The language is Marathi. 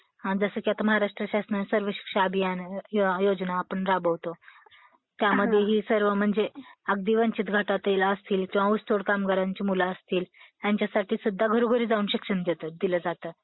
जसं की आता महाराष्ट्र शासनाचा सर्व शिक्षा अभियान योजना आपण राबवतो त्यामध्ये ही सर्व म्हणजे अगदी वंचित गटातील असतील किंवा ऊस तोड कामगारांची मुलं असतील ह्यांच्यासाठी सुद्धा घरोघरी जाऊन शिक्षण दिलं जातं.